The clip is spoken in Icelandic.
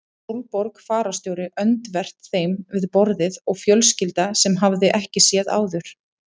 Sólborg fararstjóri öndvert þeim við borðið og fjölskylda sem hann hafði ekki séð áður.